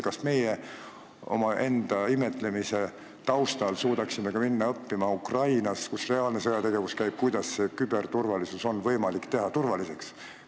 Kas me omaenda imetlemise taustal suudaksime ka minna Ukrainasse, kus käib reaalne sõjategevus, õppima seda, kuidas küberturvalisus muuta võimalikult kindlaks?